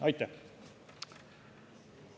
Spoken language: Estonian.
Aitäh!